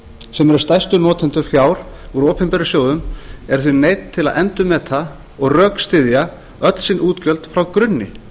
sem eru stærstu notendur fjár úr opinberum sjóðum eru því neydd til endurmeta og rökstyðja öll sín útgjöld frá grunni